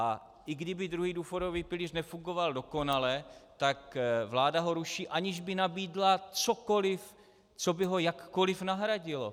A i kdyby druhý důchodový pilíř nefungoval dokonale, tak vláda ho ruší, aniž by nabídla cokoliv, co by ho jakkoliv nahradilo.